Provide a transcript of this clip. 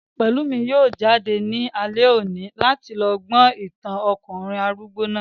Pẹ̀lúmi yóò jáde ní alẹ́ òní láti lọ gbọ́ ìtàn ọkùnrin arúgbó náà